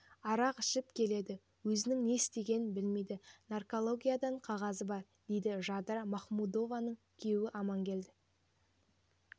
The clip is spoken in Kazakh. арақ ішіп келеді өзінің не істегенін білмейді наркологиядан қағазы бар дейді жадыра махмудованың күйеуі амангелді